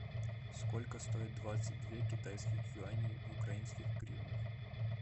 сколько стоит двадцать две китайских юаней в украинских гривнах